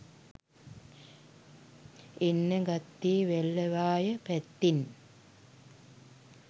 එන්න ගත්තෙ වැල්ලවාය පැත්තෙන්.